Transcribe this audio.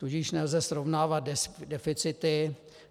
Tudíž nelze srovnávat deficity.